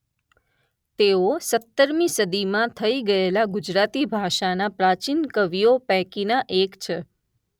તેઓ સત્તરમી સદીમાં થઈ ગયેલા ગુજરાતી ભાષાના પ્રાચીન કવિઓ પૈકીના એક છે.